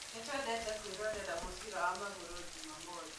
Nĩtũendete kũĩrorera mũbira wa magũru Jumamothi